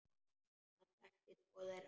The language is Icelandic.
Hann þekkti tvo þeirra.